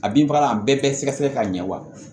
A bin fagala a bɛɛ bɛ sɛgɛsɛgɛ k'a ɲɛ wa